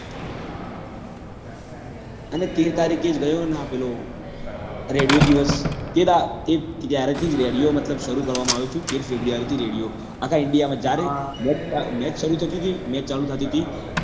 અને તેર તારીખે જ ગયો ને પેલો radio દિવસ એ મતલબ જ્યાર થી radio મતલબ સારું કરવા માં આવ્યો હતો એ તેર february થી radio આખા india માં જયારે match સારું થતી હતી match ચાલુ થતી હતી